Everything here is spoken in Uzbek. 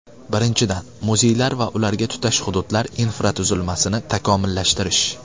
Birinchidan , muzeylar va ularga tutash hududlar infratuzilmasini takomillashtirish.